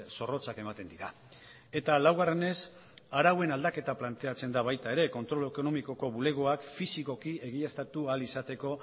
zorrotzak ematen dira eta laugarrenez arauen aldaketa planteatzen da baita ere kontrol ekonomikoko bulegoak fisikoki egiaztatu ahal izateko